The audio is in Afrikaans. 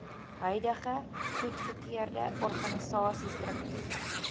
huidige goedgekeurde organisasiestruktuur